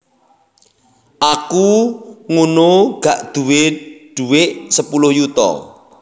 Aku ngunu gak dhuwe duwek sepuluh yuta